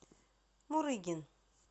мурыгин